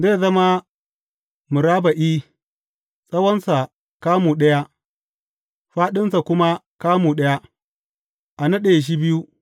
Zai zama murabba’i, tsawonsa kamu ɗaya, fāɗinsa kuma kamu ɗaya, a naɗe shi biyu.